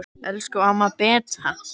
Elsku amma Beta.